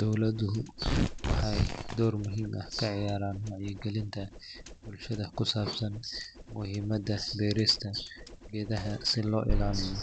Dowladuhu waxay door muhiim ah ka ciyaaraan wacyigelinta bulshada ku saabsan muhiimadda beerista geedaha si loo ilaaliyo